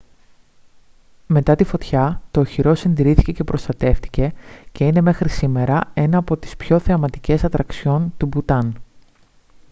μετά τη φωτιά το οχυρό συντηρήθηκε και προστατεύθηκε και είναι μέχρι σήμερα ένα από τις πιο θεματικές ατραξιόν του μπουτάν